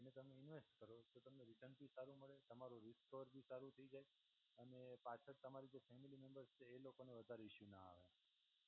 એને તમે ઇન્વેસ્ટ કરો તો તમને રિટર્ન ભી સારું મળે, તમારું રિસપર ભી સારું થઈ જાય અને પાછળ તમારી જે ફેમિલી મેમ્બર્સ છે, એ લોકોને ઇશ્યૂ ના આવે